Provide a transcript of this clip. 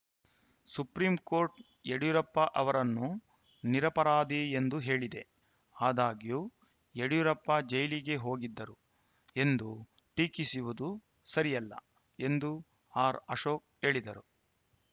supreme court Yediyurappa ಅವರನ್ನು ನಿರಪರಾಧಿ ಎಂದು ಹೇಳಿದೆ ಆದಾಗ್ಯೂ ಯಡಿಯೂರಪ್ಪ ಜೈಲಿಗೆ ಹೋಗಿದ್ದರು ಎಂದು ಟೀಕಿಸುವುದು ಸರಿಯಲ್ಲ ಎಂದು ಆರ್‌ಅಶೋಕ್‌ ಹೇಳಿದರು